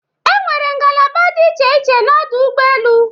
Enwere ngalaba dị iche iche n'ọdụ ụgbọ elu.